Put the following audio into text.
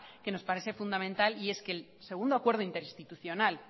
que nos parece fundamental y es que el segundo acuerdo interinstitucional